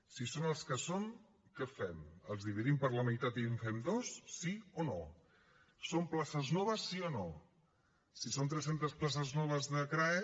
si són els que són què fem els dividim per la meitat i en fem dos sí o no són places noves sí o no si són tres centes places noves de crae